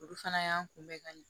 Olu fana y'an kunbɛ ka ɲɛ